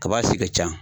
Kaba si ka ca